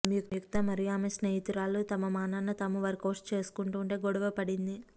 సంయుక్త మరియు ఆమె స్నేహితురాలు తమ మానాన తాము వర్కౌట్స్ చేసుకుంటూ ఉంటే గొడవ పడింది